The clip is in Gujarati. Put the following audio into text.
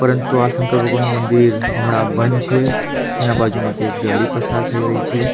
પરંતુ આ શંકર ભગવાનનું મંદિર હમણાં બંધ છે. એના બાજુમાંથી એક ગાડી પસાર થઈ રહી છે.